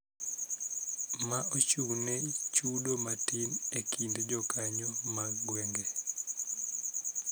Ma ochung�ne chudo matin ekind jokanyo mag gwenge.